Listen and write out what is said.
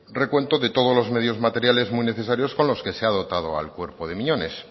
recuento de todos los medios materiales muy necesarios con los que se ha dotado al cuerpo de miñones